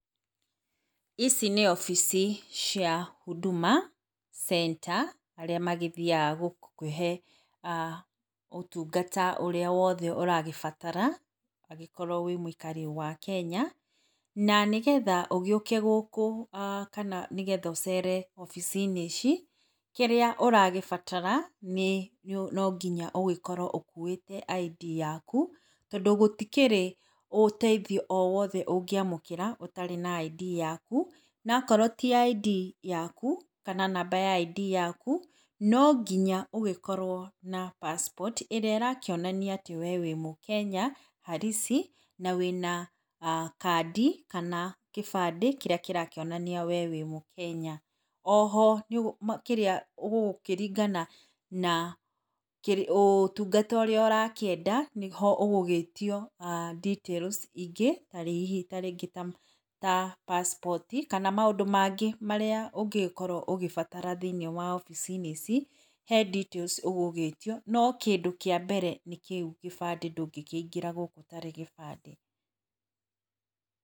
Ici nĩ ofisi cia Huduma Center arĩa magĩthiaga gũkũhe ũtungata ũrĩa wothe ũragĩbatara angĩkorwo wĩ mũikari wa Kenya. Na ũgĩũke gũkũ kana nĩgetha ũcere wabici-inĩ ici, kĩrĩa ũragĩbatara nĩ no nginya ũkorwo ũgĩkuĩte ID yaku, tondũ gũtikĩrĩ ũteithio o wothe ũngĩamũkĩra ũtarĩ na ID yaku. Na akorwo ti ID yaku kana namba ya ID yaku, no nginya ũgĩkorwo na passport ĩrĩa ĩrakĩonania ĩrĩa ĩrakĩonania atĩ we wĩ mũkenya halisi na wĩna kandi kana kĩbande kĩrĩa kĩrakĩonania we wĩ mũkenya. O ho kĩrĩa, gũgĩkĩringana na ũtungata ũrĩa ũrakĩenda, nĩho ũgũgĩtio details ingĩ ta hihi ta rĩngĩ ta passport kana maũndũ mangĩ marĩa ũngĩgĩkorwo ũgĩbatara thĩiniĩ wa wabici-inĩ ici. He details ũgũgĩĩtio, no kĩndũ kĩa mbere nĩ kĩu gĩbandĩ ndũngĩkĩingĩra gũkũ ũtarĩ gĩbandĩ.